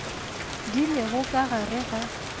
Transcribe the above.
di lego ka gare ga